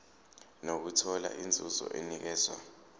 nokuthola inzuzo enikezwa